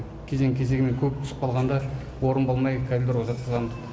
кезең кезеңмен көп түсіп қалғанда орын болмай коридорға жатқызамыз